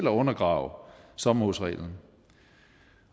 at undergrave sommerhusreglen